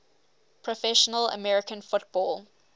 professional american football